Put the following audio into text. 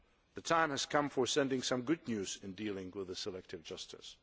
The time has come for sending some good news in dealing with selective justice.